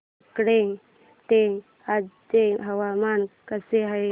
मार्कंडा चे आजचे हवामान कसे आहे